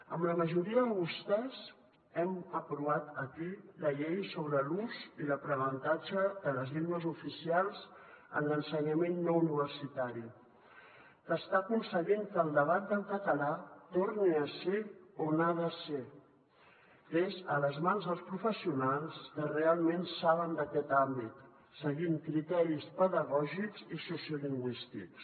amb la majoria de vostès hem aprovat aquí la llei sobre l’ús i l’aprenentatge de les llengües oficials en l’ensenyament no universitari que està aconseguint que el debat del català torni a ser on ha de ser que és a les mans dels professionals que realment saben d’aquest àmbit seguint criteris pedagògics i sociolingüístics